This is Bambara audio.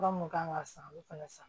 Fura mun kan ka san u fɛnɛ san